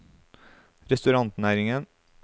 restaurantnæringen